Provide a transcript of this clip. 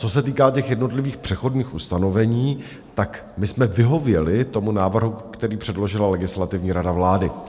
Co se týká těch jednotlivých přechodných ustanovení, tak my jsme vyhověli tomu návrhu, který předložila Legislativní rada vlády.